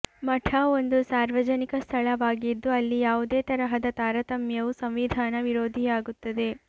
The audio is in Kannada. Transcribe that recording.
ಮಠ ಒಂದು ಸಾರ್ವಜನಿಕ ಸ್ಥಳವಾಗಿದ್ದು ಅಲ್ಲಿ ಯಾವುದೇ ತರಹದ ತಾರತಮ್ಯವು ಸಂವಿಧಾನ ವಿರೋಧಿಯಾಗುತ್ತದೆ